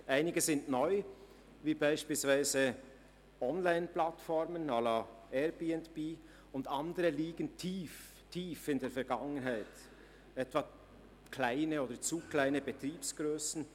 Einige sind neu wie beispielsweise Online-Plattformen à la Airbnb, andere liegen tief in der Vergangenheit wie etwa kleine oder zu kleine Betriebsgrössen.